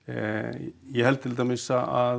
ég held til dæmis að